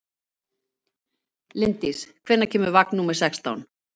Linddís, hvenær kemur vagn númer sextán?